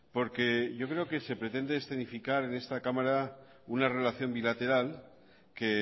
porque yo creo que se pretende escenificar en esta cámara una relación bilateral que